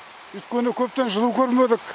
өйткені көптен жылу көрмедік